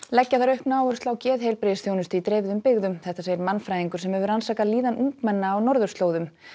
leggja þarf aukna áherslu á geðheilbrigðisþjónustu í dreifðum byggðum segir mannfræðingur sem hefur rannsakað líðan ungmenna á norðurslóðum